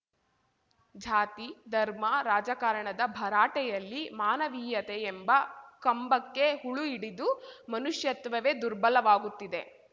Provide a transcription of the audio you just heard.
ಜಾತಿ ಧರ್ಮ ರಾಜಕಾರಣದ ಭರಾಟೆಯಲ್ಲಿ ಮಾನವೀಯತೆ ಎಂಬ ಕಂಬಕ್ಕೆ ಹುಳು ಹಿಡಿದು ಮನುಷ್ಯತ್ವವೇ ದುರ್ಬಲವಾಗುತ್ತಿದೆ